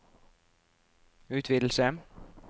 utvidelse